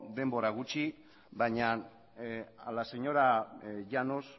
denbora gutxi baina a la señora llanos